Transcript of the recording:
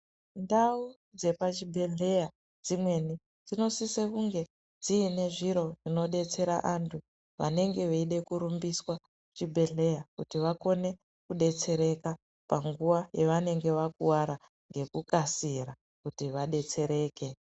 Ndau dzepa chibhedhlera dzimweni dzinosisa kunge dziine zviro zvinodetsera antu vanenge veida kurumbiswa kuchibhedlera kuti vakone kudetsereka panguva yavanenge vakuwara nekukasira kuti vadetsereke.